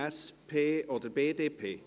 SP oder BDP?